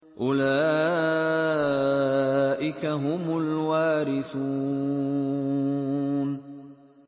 أُولَٰئِكَ هُمُ الْوَارِثُونَ